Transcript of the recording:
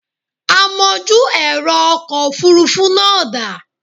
Amojú ẹ̀rọ ọkọ̀ Òfurufú náà da?